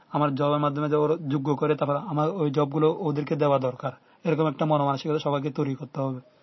আমার jobe মাধ্যমে ওরা মাধ্যমে যারা যোগ্য করে ধরো আমার এই জব গুলো ওদেরকে দেওয়া দরকার এরকম একটা মানে মানসিকতা সবাইকে তৈরি করতে হবে।